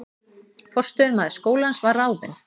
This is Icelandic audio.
Forstöðumaður skólans var ráðinn